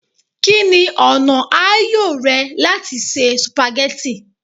Kini ọna aayo rẹ lati ṣe spaghetti?